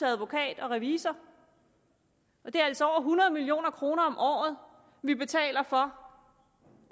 advokat og revisor og det er altså over hundrede million kroner om året vi betaler for